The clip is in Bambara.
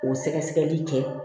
O sɛgɛsɛgɛli kɛ